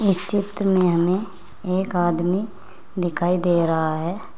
इस चित्र में हमें एक आदमी दिखाई दे रहा है।